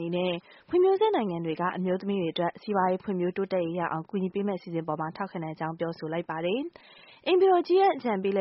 နေနဲ့ ဖွံ့ဖြိုးဆဲနိုင်ငံတွေက အမျိုးသမီးတွေ အတွက် စီးပွားရေးဖွံ့ဖြိုးတိုးတက်ရေးရအောင် ကူညီပေးမယ့်အစီအစဉ်အပေါ် ထောက်ခံကြောင်း ပြောဆိုလိုက်ပါတယ်။ အိမ်ဖြူတော် အကြီးတန်းအကြံပေး